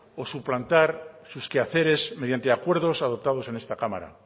o suplantar sus quehaceres mediante acuerdos adoptados en esta cámara